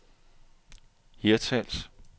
Hirtshals